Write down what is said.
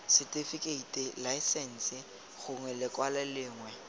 setifikeiti laesense gongwe lekwalo lengwe